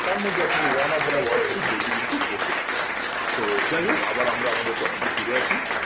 তার মধ্যে আপনি one up on wall street বইটি কিন্তু পড়তে পারেন তো যাই হোগ আবার আমরা আমাদের topic এ ফিরে আসি